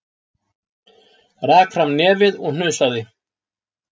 Rak fram nefið og hnusaði.